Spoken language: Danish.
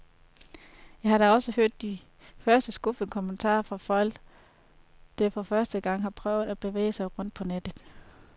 Jeg har da også hørt de første skuffede kommentarer fra folk, der for første gang har prøvet at bevæge sig rundt på nettet.